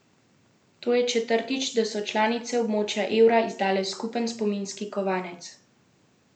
To je četrtič, da so članice območja evra izdale skupen spominski kovanec.